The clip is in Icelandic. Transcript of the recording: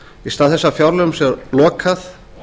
í stað þess að fjárlögum sé lokað